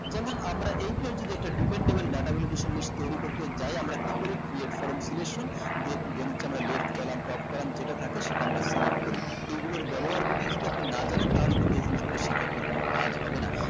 যেমন আমরা এইটা যদি একটা dependable data validation list তৈরী করতে যাই আমরা কি করি create form selection যে then হচ্ছে আমরা left column top column যেটা থাকে সেটা আমরা create করি এগুলোর ব্যাবহার যদি যদি আপনি না জানেন তাহলে কিন্তু এ জিনিসগুলো শিখে আপনার কোনো কাজ হবে না